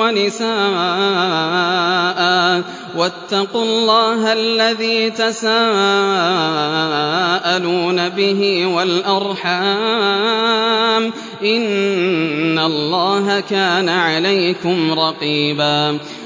وَنِسَاءً ۚ وَاتَّقُوا اللَّهَ الَّذِي تَسَاءَلُونَ بِهِ وَالْأَرْحَامَ ۚ إِنَّ اللَّهَ كَانَ عَلَيْكُمْ رَقِيبًا